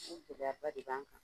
O gɛlɛyaba de b'an kan